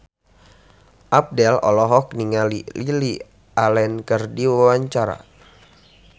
Abdel olohok ningali Lily Allen keur diwawancara